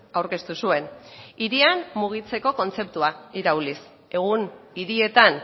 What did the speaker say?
aurkeztu zuen hirian mugitzeko kontzeptua irauliz egun hirietan